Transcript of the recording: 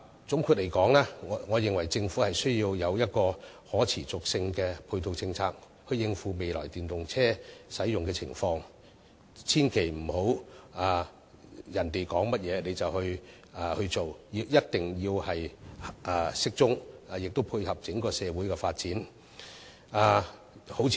總的來說，我認為政府需要一套可持續的配套政策，以應付未來電動車的使用情況，切勿盲目聽從別人的說法，政策必須適當及配合整個社會發展，例如加強......